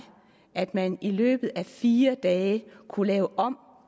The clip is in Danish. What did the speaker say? at man i løbet af fire dage kunne lave om